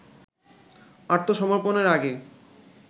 আত্মসমর্পণের আগে